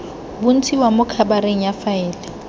bontshiwa mo khabareng ya faele